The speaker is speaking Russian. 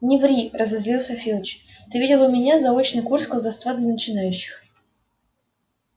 не ври разозлился филч ты видел у меня заочный курс колдовства для начинающих